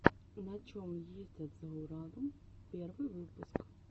на чем ездят за уралом первый выпуск